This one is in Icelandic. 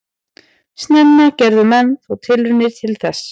Snemma gerðu menn þó tilraunir til þess.